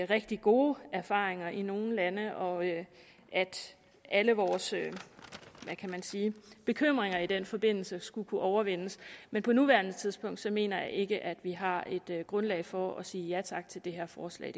rigtig gode erfaringer i nogle lande og at alle vores hvad kan man sige bekymringer i den forbindelse skulle kunne overvindes men på nuværende tidspunkt mener jeg ikke at vi har et grundlag for at sige ja tak til det her forslag